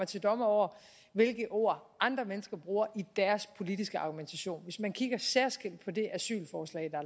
til dommer over hvilke ord andre mennesker bruger i deres politiske argumentation hvis man kigger særskilt på det asylforslag der